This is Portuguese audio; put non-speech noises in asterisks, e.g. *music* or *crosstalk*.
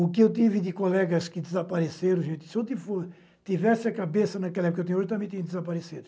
O que eu tive de colegas que desapareceram, gente, se eu *unintelligible* tivesse a cabeça naquela época, eu também tinha desaparecido.